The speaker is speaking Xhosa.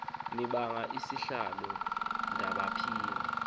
ndibanga isihlalo ndandiphi